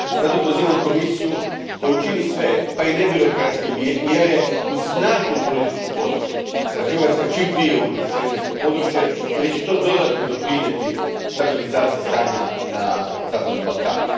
Zato pozivam Komisiju da učini sve, pa i nebirokratske mjere uz snažnu političku podršku da Hrvatska čim prije uđe u Schengensko područje, jer će to dodatno doprinijeti stabilizaciji stanja na zapadnom Balkanu.